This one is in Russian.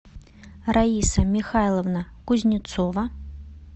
раиса михайловна кузнецова